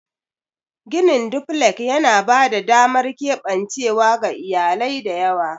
Ginin duflek yana ba da damar keɓancewa ga iyalai da yawa.